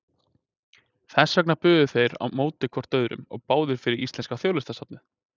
Þess vegna buðu þeir hvor á móti öðrum og báðir fyrir íslenska þjóðlistasafnið!